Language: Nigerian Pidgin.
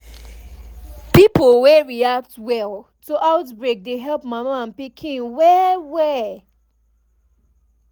pipo wey react well to outbreak dey help mama and pikin well well